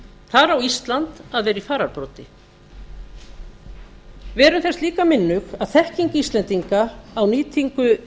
þar á ísland að vera í fararbroddi verum þess líka minnug að þekking íslendinga á nýtingu